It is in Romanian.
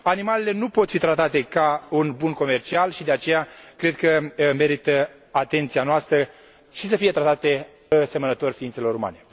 Animalele nu pot fi tratate ca un bun comercial și, de aceea, cred că merită atenția noastră și să fie tratate asemănător ființelor umane.